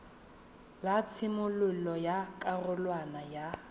la tshimololo ya karolwana ya